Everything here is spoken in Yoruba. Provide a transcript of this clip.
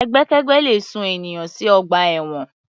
Ẹgbẹ́kẹ́gbẹ́ le sún ènìyàn sí ọgbà ẹ̀wọ̀n.